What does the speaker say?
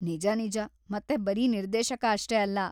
ನಿಜ ನಿಜ, ಮತ್ತೆ ಬರೀ ನಿರ್ದೇಶಕ ಅಷ್ಟೇ ಅಲ್ಲ.